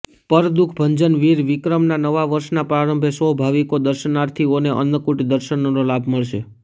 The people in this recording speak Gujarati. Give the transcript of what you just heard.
પરદુઃખભંજન વીર વિક્રમના નવા વર્ષના પ્રરંભે સૌ ભાવિકો દર્શનાર્થીઓને અન્નકૂટ દર્શનનો લાભ મળશે